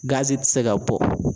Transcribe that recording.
Gazi tɛ se ka bɔ